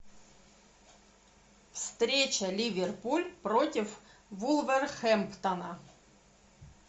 встреча ливерпуль против вулверхэмптона